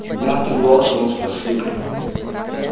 мягким голосом он спросил